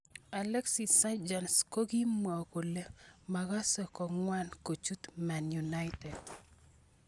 Alexis Sanchez kokimwo kole makase kongwan kochut Man Utd.